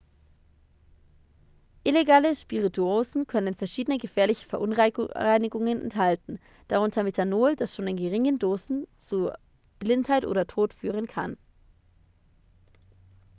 illegale spirituosen können verschiedene gefährliche verunreinigungen enthalten darunter methanol das schon in geringen dosen zu blindheit oder tod führen kann